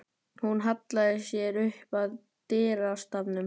Hún hallaði sér upp að dyrastafnum.